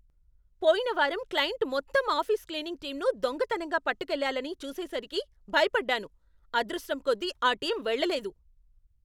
పోయిన వారం క్లయింట్ మొత్తం ఆఫీస్ క్లీనింగ్ టీంను దొంగతనంగా పట్టుకెళ్ళాలని చూసేసరికి భయపడ్డాను. అదృష్టం కొద్దీ, ఆ టీం వెళ్లలేదు.